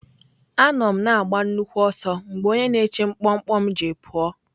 Anọ m na-agba nnukwu ọsọ mgbe onye na-eche mkpọmkpọ m ji pụọ.